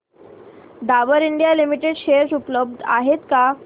Dabur India limited share उपलब्ध आहेत का